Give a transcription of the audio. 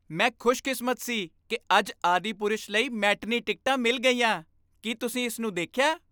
ਮੈਂ ਖੁਸ਼ਕਿਸਮਤ ਸੀ ਕਿ ਅੱਜ "ਆਦਿਪੁਰਸ਼" ਲਈ ਮੈਟਨੀ ਟਿਕਟਾਂ ਮਿਲ ਗਈਆਂ। ਕੀ ਤੁਸੀਂ ਇਸ ਨੂੰ ਦੇਖਿਆ?